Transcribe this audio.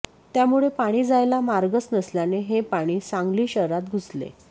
त्यामुळे पाणी जायला मार्गच नसल्याने हे पाणी सांगली शहरात घुसले